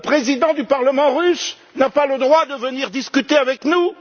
Le président du Parlement russe n'a pas le droit de venir discuter avec nous!